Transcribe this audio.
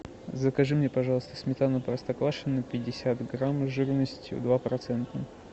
закажи мне пожалуйста сметану простоквашино пятьдесят грамм жирностью два процента